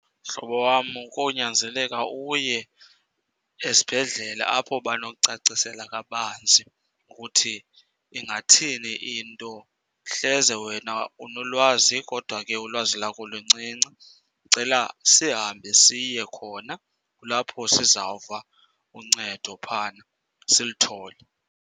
Mhlobo wam, konyanzeleka uye esibhedlele apho banokucacisela kabanzi ukuthi ingathini into hleze wena unolwazi. Kodwa ke ulwazi lakulo encinci. Ndicela sihambe siye khona kulapho sizawuva uncedo phayana silithole.